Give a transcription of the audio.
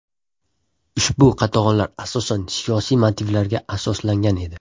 Ushbu qatag‘onlar asosan siyosiy motivlarga asoslangan edi.